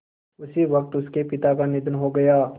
उसी वक़्त उनके पिता का निधन हो गया